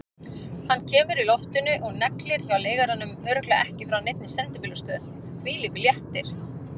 Hann kemur í loftinu og neglir hjá leigaranum, örugglega ekki frá neinni sendibílastöð, hvílíkur léttir!